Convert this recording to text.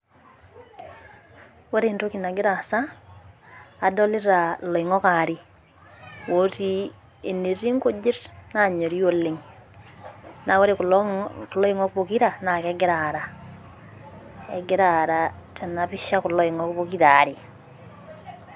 Ore entoki nagira aasa adolita iloing'ok waare looti ineeti inkujit nanyorii oleng'. Naa ore kulo oing'ok pokira naa kegira aara egira aara kulo ongok tena pisha pookira aare